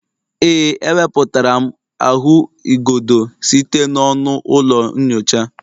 Ee, ewepụtara m ahụigodo site n'ọnụ ụlọ nyocha